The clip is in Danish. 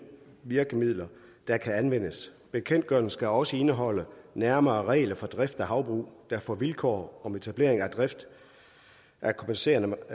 virkemidler der kan anvendes bekendtgørelsen skal også indeholde nærmere regler for drift af havbrug der får vilkår om etablering af drift af kompenserende